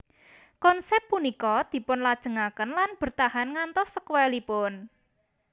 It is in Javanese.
Konsep punika dipunlajengaken lan bertahan ngantos sekuelipun